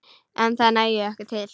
En það nægi ekki til.